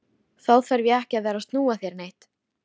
Þá þarf ég ekki að vera að snúa þér neitt.